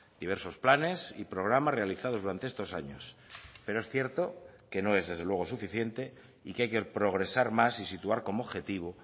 diversos planes y programas realizados durante estos años pero es cierto que no es desde luego suficiente y que hay que progresar más y situar como objetivo